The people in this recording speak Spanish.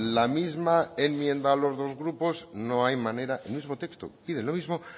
la misma enmienda los dos grupos no hay manera el mismo texto piden lo mismo